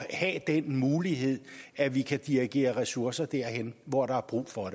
at have den mulighed at vi kan dirigere ressourcerne derhen hvor der er brug for